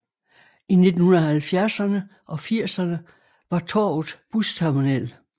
I 1970erne og 80erne var torvet busterminal